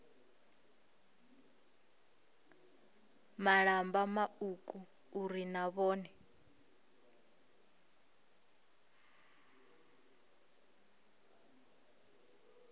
malamba mauku uri na vhone